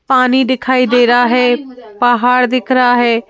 पानी दिखाई दे रहा है पहाड़ दिख रहा है।